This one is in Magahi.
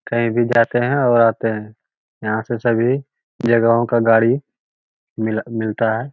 कही भी जाते हैं और आते हैं यहां से सभी जगहों का गाड़ी मिल मिलता है।